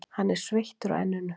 Hann er sveittur á enninu.